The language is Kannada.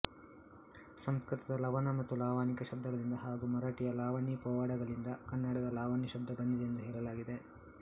ಸಂಸ್ಕೃತದ ಲವಣ ಮತ್ತು ಲಾವಣಿಕಾ ಶಬ್ದಗಳಿಂದ ಹಾಗೂ ಮರಾಠಿಯ ಲಾವಣಿ ಪೋವಾಡಗಳಿಂದ ಕನ್ನಡದ ಲಾವಣಿ ಶಬ್ದ ಬಂದಿದೆ ಎಂದು ಹೇಳಲಾಗಿದೆ